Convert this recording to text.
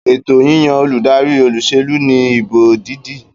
Ètò yíyan olùdarí olúsèlú ní ìbò dídì